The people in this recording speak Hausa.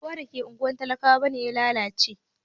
Ba kowa da ke ungwar talakawa bane ya lallace.